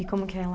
E como que é lá?